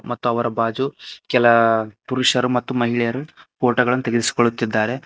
ಮತ್ತು ಅವರ ಭಾಜು ಕೆಲ ಪುರುಷರು ಮತ್ತು ಮಹಿಳೆಯರು ಫೋಟೋ ಗಳನ್ನ ತೆಗೆಸಿಕೊಳ್ಳುತ್ತಿದ್ದಾರೆ.